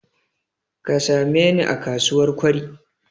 Ka sameni a kasuwar Kwari.